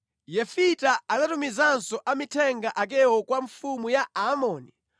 Yefita anatumizanso amithenga akewo kwa mfumu ya Aamoni